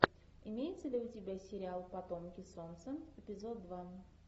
имеется ли у тебя сериал потомки солнца эпизод два